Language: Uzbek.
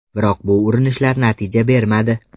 Biroq bu urinishlar natija bermadi.